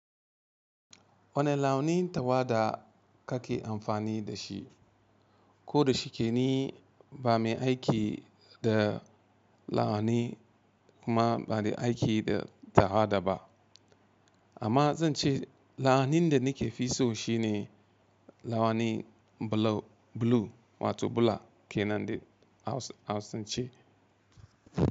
Wane launi tawa da kake amfani da shi? Ko da shike ni ba mai aiki da launi kuma ba mai aiki da tawa da ba. Amma zan ce la'anin da nike fi so shine la'anin blue wato bula kenan da Hausa, Hausa zan ce.